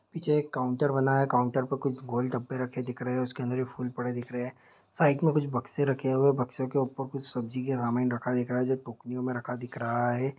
पीछे काउंटर बना है काउंटर पे कुछ गोल-गप्पे रखे हुए दिख रहे हैं उसके अंदर फूलों पड़े दिख रहे हैं साइड में कुछ बक्से रखे हुएबक्सों के ऊपर कुछ सब्जियों के रखा दिख रहा हैं टोकरियों में रखा दिख रहा हैं।